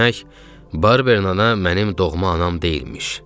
Demək, Barberin ana mənim doğma anam deyilmiş.